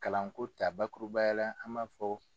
Kalanko ta, bakurubayala an maa fɔ.